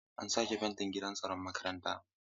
An sake fentin gidan tsaron makarantar.